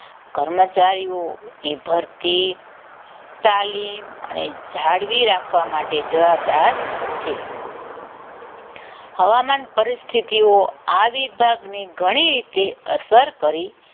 કર્મચારીઓની ભરતી તાલીમ જાળવી રાખવા માટે જવાબદાર છે હવામાન પરિસ્થિતિઓ આ વિભાગની ઘણી રીતે અસર